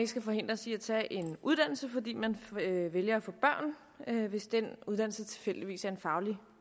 skal forhindres i at tage en uddannelse fordi man vælger at få børn hvis den uddannelse tilfældigvis er en faglig